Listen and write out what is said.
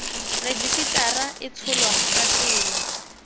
rejisetara e tsholwa ka tsela